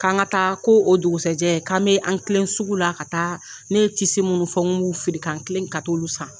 K'an ka taa, ko o dugusɛjɛ k'an bɛ an kilen sugu la ka taa, ne ye munnu fɔw n ku b'u feere kan kilen ka t'olu san.